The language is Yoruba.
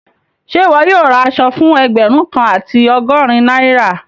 Ṣẹ iwọ yóò rá àṣọ̀ fún ẹgbérùn kan àti ọgọ́rìn Naira?